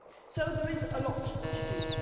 So there is a lot to do.